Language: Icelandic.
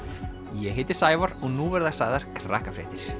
ég heiti Sævar og nú verða sagðar